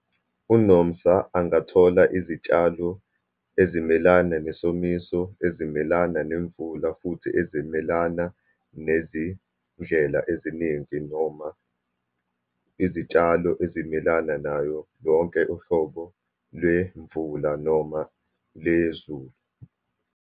UNomsa angathola izitshalo ezimelana nesomiso, ezimelana nemvula, futhi ezimelana nezindlela eziningi, noma izitshalo ezimelana nayo yonke uhlobo lemvula, noma lezulu.